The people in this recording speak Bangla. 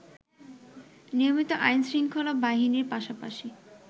নিয়মিত আইনশৃঙ্খলা বাহিনীর পাশাপাশি